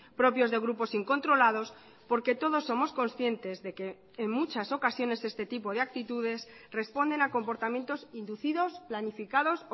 propios de grupos incontrolados porque todos somos conscientes de que en muchas ocasiones este tipo de actitudes responden a comportamientos inducidos planificados